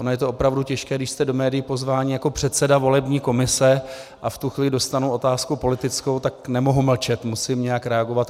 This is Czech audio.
Ono je to opravdu těžké, když jste do médií pozváni jako předseda volební komise, a v tu chvíli dostanu otázku politickou, tak nemohu mlčet, musím nějak reagovat.